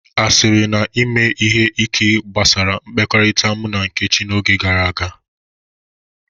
Asịrị na ime ihe ike gbasara mmekọrịta mụ na Nkechi n'oge gara aga.